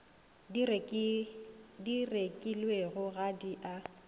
di rekilwego ga di a